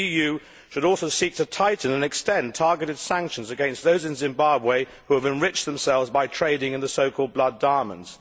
The EU should also seek to tighten and extend targeted sanctions against those in Zimbabwe who have enriched themselves by trading in the so called blood diamonds.